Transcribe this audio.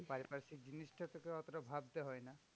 পারিপার্শিক জিনিসটা তোকে অতটা ভাবতে হয় না।